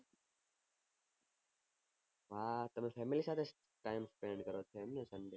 હા તમે family સાથે time spent કરો છો એમ